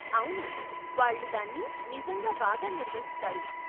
అవును, వాళ్ళు దాన్ని నిజంగా బాగా నిర్వహిస్తారు.